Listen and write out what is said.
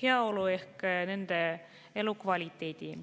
heaolu ehk nende elukvaliteeti.